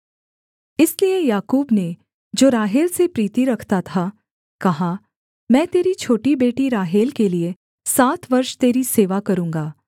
इसलिए याकूब ने जो राहेल से प्रीति रखता था कहा मैं तेरी छोटी बेटी राहेल के लिये सात वर्ष तेरी सेवा करूँगा